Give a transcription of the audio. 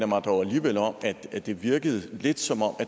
mig dog alligevel om at det virkede lidt som om